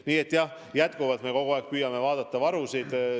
Nii et jah, jätkuvalt me kogu aeg püüame varusid jälgida.